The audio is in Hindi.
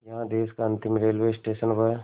यहाँ देश का अंतिम रेलवे स्टेशन व